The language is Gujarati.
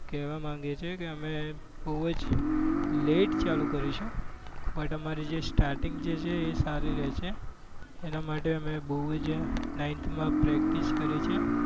કહેવા માંગે છે કે અમે બહુ જ લેટ ચાલુ કરીશું but મારે જે stating છે એ સારી રહે છે. એના માટે અમે બહુ જ night માં practice કરે છે.